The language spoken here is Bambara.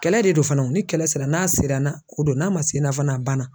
Kɛlɛ de don fana ni kɛlɛ sera n'a sera ni na o don n'a ma se n'a fana a banna